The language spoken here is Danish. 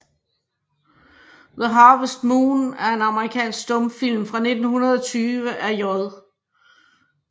The Harvest Moon er en amerikansk stumfilm fra 1920 af J